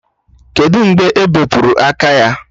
Kedụ mgbe ebepụrụ aka ya?